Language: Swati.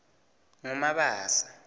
ngumabasa